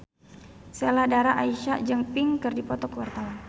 Sheila Dara Aisha jeung Pink keur dipoto ku wartawan